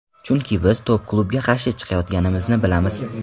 Chunki biz top klubga qarshi chiqayotganimizni bilamiz.